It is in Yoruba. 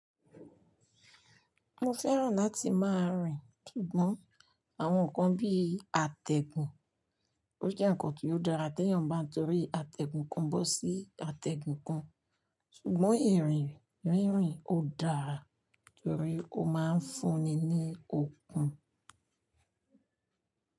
Mo fẹ́ràn láti máa rìn ṣùgbọ́n àwọn nǹkan bí i àtẹ̀gùn, ó jẹ́ nǹkan tí ó dára téyàn bá torí àtẹ̀gùn kan bọ́ sí àtẹ̀gùn kan. Ṣùgbọ́n ìrìn rínrin ò dára torí ó máa ń fúnni ní okun.